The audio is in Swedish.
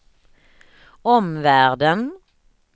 omvärlden